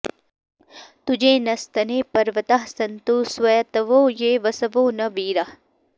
तु॒जे न॒स्तने॒ पर्व॑ताः सन्तु॒ स्वैत॑वो॒ ये वस॑वो॒ न वी॒राः